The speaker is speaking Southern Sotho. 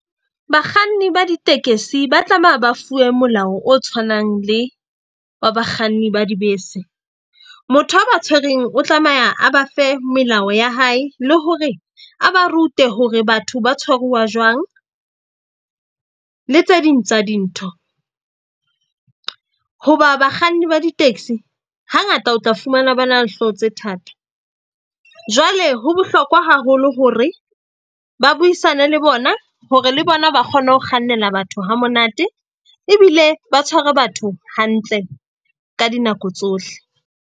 Bakganni ba ditekesi ba tlameha ba fuwe molao o tshwanang le wa bakganni ba dibese. Motho a ba tshwereng o tlameha a ba fe melao ya hae le hore a ba rute hore batho ba tshwaruwa jwang le tse ding tsa dintho. Hoba bakganni ba di-taxi hangata o tla fumana ba na le hlooho tse thata. Jwale ho bohlokwa haholo hore ba buisane le bona hore le bona ba kgone ho kgannela batho hamonate ebile ba tshware batho hantle ka dinako tsohle.